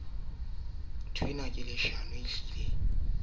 e menyane le e meholo